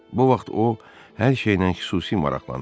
Bu vaxt o hər şeylə xüsusi maraqlanırdı.